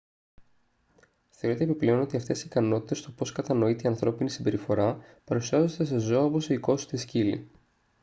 θεωρείται επιπλέον ότι αυτές οι ικανότητες στο πως κατανοείται η ανθρώπινη συμπεριφορά παρουσιάζονται σε ζώα όπως οι οικόσιτοι σκύλοι